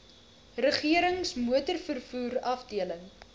regerings motorvervoer afdeling